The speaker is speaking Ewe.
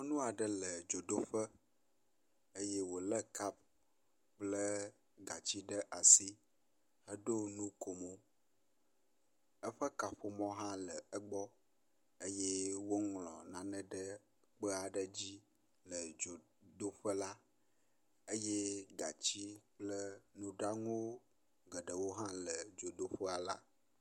nyɔŋuaɖe le dzodoƒe eye wòle kap kple gatsi ɖe asi eɖó nukomo eƒe kaƒomɔ hã le egbɔ eye wóŋlɔ nane ɖe kpeaɖe dzí le dzodoƒela eye gatsi kple nuɖanu geɖewo hã le dzodoƒe la